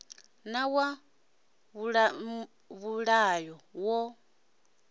na wa vhuṋa yo ḓa